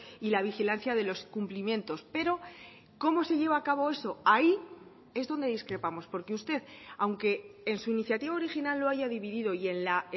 y la vigilancia de los cumplimientos pero cómo se lleva a cabo eso ahí es donde discrepamos porque usted aunque en su iniciativa original lo haya dividido y en la